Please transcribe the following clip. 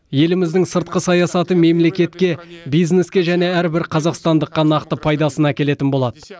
еліміздің сыртқы саясаты мемлекетке бизнеске және әрбір қазақстандыққа нақты пайдасын әкелетін болады